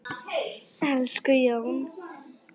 Elsku Jón.